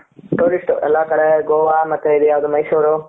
tourist ಎಲ್ಲ ಕಡೆ ಗೋವಾ ಮತ್ತೆ ಇದು ಯಾವದು ಮೈಸೂರ್ ,